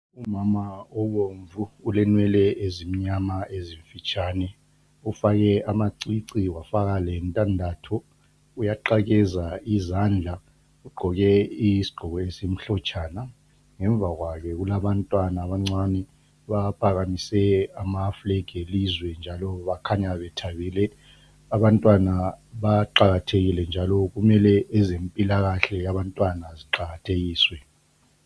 Umama obomvu ulenwele ezimnyama ezifitshane. Ufake amacici wafaka lendandatho. Uyaqakeza izandla. Ugqoke isigqoko esimhlotshana. Ngemuva kwakhe kula bantwana abancane baphakamise amaflegi elizwe, njalo bakhanya bethabile. Abantwana baqakathekile njalo kumele ezephilakahle yabantwana ziqakathekiswe.